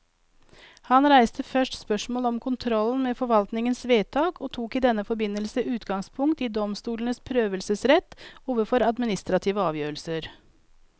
Han reiste først spørsmålet om kontrollen med forvaltningens vedtak, og tok i denne forbindelse utgangspunkt i domstolenes prøvelsesrett overfor administrative avgjørelser.